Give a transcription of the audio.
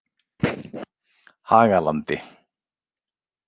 Hagalandi